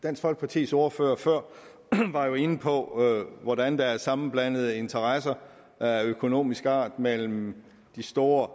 dansk folkepartis ordfører var jo før inde på hvordan der er sammenblandede interesser af økonomisk art mellem de store